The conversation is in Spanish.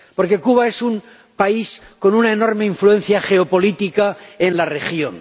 Porque Cuba es un país con una enorme influencia geopolítica en la región.